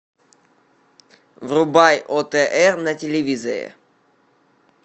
врубай отр на телевизоре